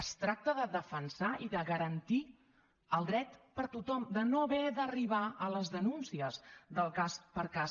es tracta de defensar i de garantir el dret per a tothom de no haver d’arribar a les denúncies del cas per cas